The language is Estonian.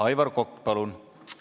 Aivar Kokk, palun!